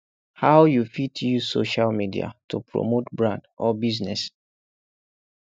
how you fit use social media to promote brand or business